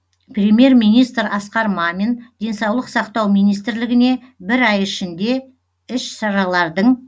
премьер министр асқар мамин денсаулық сақтау министрлігіне бір ай ішінде іс шаралардың